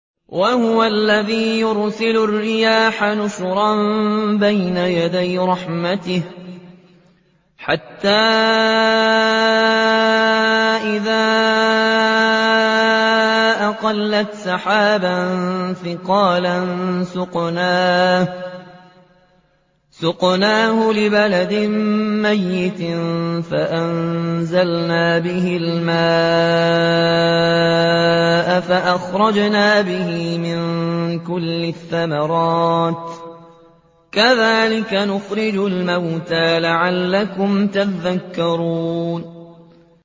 وَهُوَ الَّذِي يُرْسِلُ الرِّيَاحَ بُشْرًا بَيْنَ يَدَيْ رَحْمَتِهِ ۖ حَتَّىٰ إِذَا أَقَلَّتْ سَحَابًا ثِقَالًا سُقْنَاهُ لِبَلَدٍ مَّيِّتٍ فَأَنزَلْنَا بِهِ الْمَاءَ فَأَخْرَجْنَا بِهِ مِن كُلِّ الثَّمَرَاتِ ۚ كَذَٰلِكَ نُخْرِجُ الْمَوْتَىٰ لَعَلَّكُمْ تَذَكَّرُونَ